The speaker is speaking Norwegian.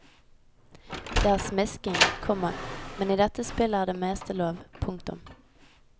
Det er smisking, komma men i dette spillet er det meste lov. punktum